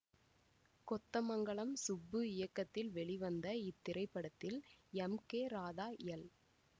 கொத்தமங்கலம் சுப்பு இயக்கத்தில் வெளிவந்த இத்திரைப்படத்தில் எம் கே ராதா எல்